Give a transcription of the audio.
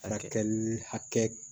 Baarakɛ hakɛ